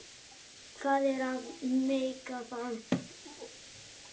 Hvað er að meika það?